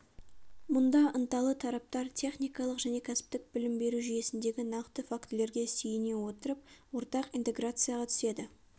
мұнда ынталы тараптар техникалық және кәсіптік білім беру жүйесіндегі нақты фактілерге сүйене отырып ортақ интеграцияға түседі